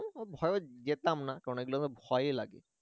ভয়ে যেতাম না কারণ এগুলো সব ভয় লাগে